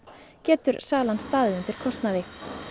stendur salan undir kostnaði